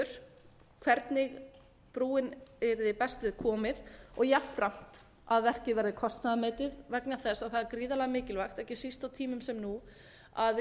kostur hvernig brúnni yrði best við komið og jafnframt að verkið verði kostnaðarmetið vegna þess að það er gríðarlega mikilvægt ekki síst á tímum sem nú að við